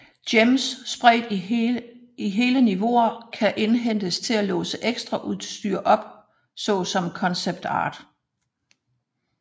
Gems spredt i hele niveauer kan indhentes til at låse ekstraudstyr op såsom concept art